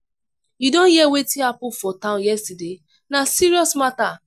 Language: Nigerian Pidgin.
you don hear wetin happen for town yesterday? na serious matter.